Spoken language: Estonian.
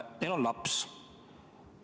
Neil on laps.